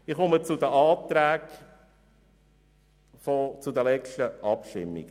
Ich komme zu den Anträgen hinsichtlich der letzten Abstimmungen: